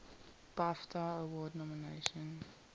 bafta award nomination